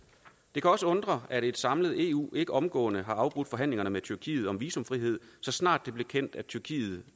det kan også undre at et samlet eu ikke omgående har afbrudt forhandlingerne med tyrkiet om visumfrihed så snart det blev kendt at tyrkiet